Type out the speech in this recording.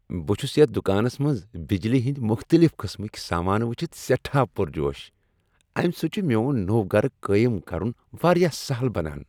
بہٕ چھس یتھ دکانس منز بجلی ہٕندۍ مختلف قٕسمٕکۍ سامانہٕ وچھِتھ سیٹھاہ پرجوش۔ امہ سۭتۍ چھ میون نوو گرٕ قٲیم کرن واریاہ سہل بنان۔